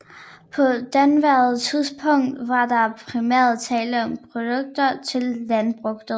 På daværende tidspunkt var der primært tale om produkter til landbruget